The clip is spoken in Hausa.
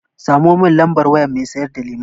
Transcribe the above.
Samo mun lambar wayar mai sayar da lemon.